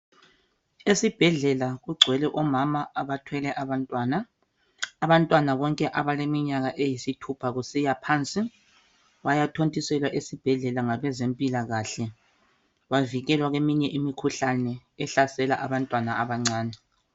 Esibhedlela kugcwele omama abathwele abantwana abantwana bonke abaleminyaka eyithupha kusiya phansi bayathontiselwa esibhedlela ngabezempilakahle bavikelwa kweminye imikhuhlane ehlasela abantwana abancane.